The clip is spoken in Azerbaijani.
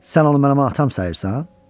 Sən onu mənim atam sanırsan?